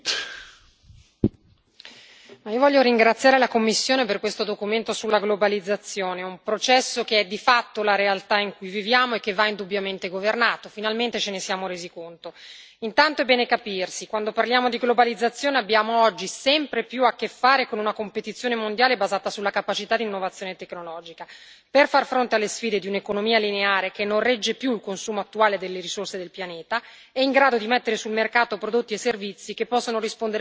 Signor Presidente, onorevoli colleghi, voglio ringraziare la Commissione per questo documento sulla globalizzazione, un processo che è di fatto la realtà in cui viviamo e che va indubbiamente governato, finalmente ce ne siamo resi conto. Intanto è bene capirsi, quando parliamo di globalizzazione abbiamo oggi sempre più a che fare con una competizione mondiale basata sulla capacità di innovazione tecnologica per far fronte alle sfide di un'economia lineare che non regge più il consumo attuale delle risorse del pianeta e in grado di mettere sul mercato prodotti e servizi che possono rispondere meglio alle esigenze dei consumatori.